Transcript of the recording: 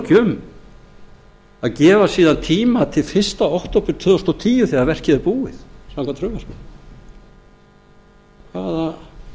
ekki um að gefa síðan tíma til fyrsta október tvö þúsund og tíu þegar verkið er búið samkvæmt frumvarpinu